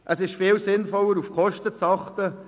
Es ist viel sinnvoller, auf die Kosten zu achten.